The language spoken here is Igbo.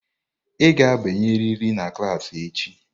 Ị ga-abanyerịrị na klas echi!